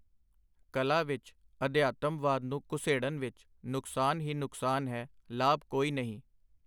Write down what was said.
ਕਲਾ ਵਿਚ ਅਧਿਆਤਮਵਾਦ ਨੂੰ ਘੁਸੇੜਨ ਵਿਚ ਨੁਕਸਾਨ ਹੀ ਨੁਕਸਾਨ ਹੈ, ਲਾਭ ਕੋਈ ਨਹੀਂ.